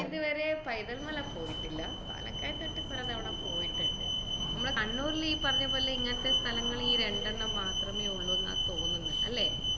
ഞാനിതുവരെ പൈതൽ മല പോയിട്ടില്ല പാലക്കയം തട്ട് പലതവണ പോയിട്ടണ്ട് മ്മളെ കണ്ണൂരിലെ ഈ പറഞ്ഞപോലെ ഇങ്ങനത്തെ സ്ഥലങ്ങള് ഈ രണ്ടെണ്ണം മാത്രമേ ഉള്ളൂ എന്നാ തോന്നുന്നെ അല്ലെ?